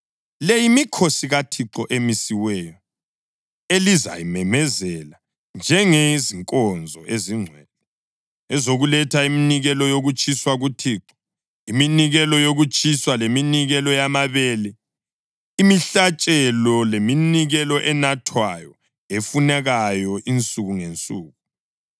(Le yimikhosi kaThixo emisiweyo elizayimemezela njengezinkonzo ezingcwele, ezokuletha iminikelo yokutshiswa kuThixo, iminikelo yokutshiswa, leminikelo yamabele, imihlatshelo leminikelo enathwayo efunekayo insuku ngensuku.